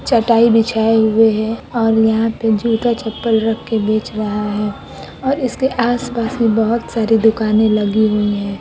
चटाई बिछाई हुई हैऔर यहा पर जूता चप्पल रख के बेच रहा हैं और इसके आस-पास में बहुत सारी दुकाने लागीहुई है ।"